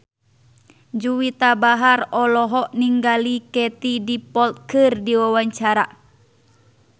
Juwita Bahar olohok ningali Katie Dippold keur diwawancara